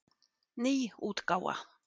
Ný útgáfa.